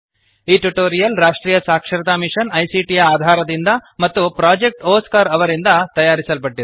ಈ ಟ್ಯುಟೋರಿಯಲ್ ರಾಷ್ಟ್ರೀಯ ಸಾಕ್ಷರತಾ ಮಿಶನ್ ಐಸಿಟಿ ಯ ಆಧಾರದಿಂದ ಮತ್ತು ಪ್ರೊಜೆಕ್ಟ್ ಒಸ್ಕಾರ್ ಅವರಿಂದ ತಯಾರಿಸಲ್ಪಟ್ಟಿದೆ